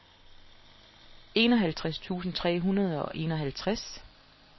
enoghalvtreds tusind tre hundrede og enoghalvtreds